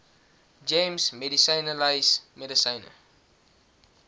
gems medisynelys medisyne